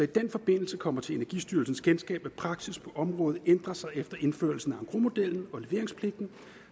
den forbindelse kommer til energistyrelsens kendskab at praksis på området ændrer sig efter indførelsen af engrosmodellen og leveringspligten